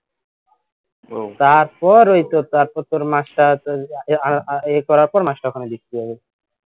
তারপর ওই তো তারপর তোর মাসটা আছে এ করার পর মাসটা ওখানে লিখতে হবে